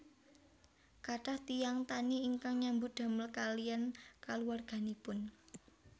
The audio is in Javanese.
Kathah tiyang tani ingkang nyambut damel kaliyan kaluwarganipun